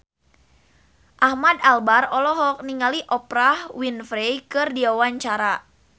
Ahmad Albar olohok ningali Oprah Winfrey keur diwawancara